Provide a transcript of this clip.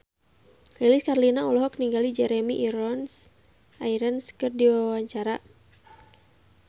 Lilis Karlina olohok ningali Jeremy Irons keur diwawancara